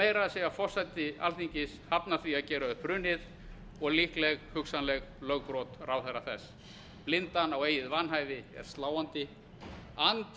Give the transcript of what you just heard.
meira að segja forseti alþingis hafna því að gera upp hrunið og líkleg hugsanleg lögbrot ráðherra þess blindan á eigið